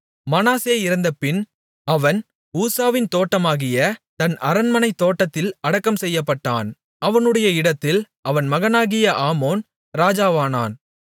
மனாசே இறந்தபின் அவன் ஊசாவின் தோட்டமாகிய தன் அரண்மனைத் தோட்டத்தில் அடக்கம் செய்யப்பட்டான் அவனுடைய இடத்தில் அவன் மகனாகிய ஆமோன் ராஜாவானான்